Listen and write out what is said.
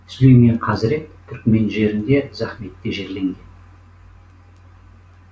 сүлеймен хазірет түрікмен жерінде захметте жерленген